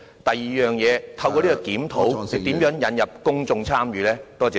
第二，局長如何透過有關檢討，引入公眾參與？